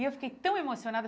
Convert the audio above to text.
E eu fiquei tão emocionada.